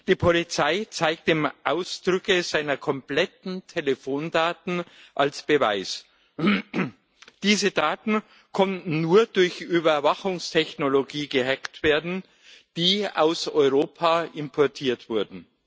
Die Polizei zeigte ihm Ausdrucke seiner kompletten Telefondaten als Beweis. Diese Daten konnten nur durch Überwachungstechnologie gehackt werden, die aus Europa importiert wurde.